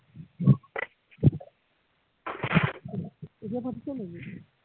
এতিয়া ফাটিছে নিকি